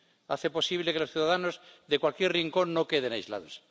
Hace posible que los ciudadanos de cualquier rincón no queden aislados.